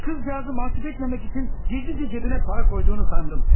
O qızcağızı məcub etməmək üçün gizlicə cəbinə para qoyduğunu sandım.